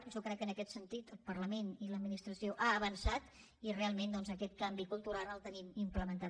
jo crec que en aquest sentit el parlament i l’administració han avançat i real ment doncs aquest canvi cultural el tenim implementat